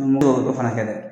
N t'o dɔ fana kɛ dɛ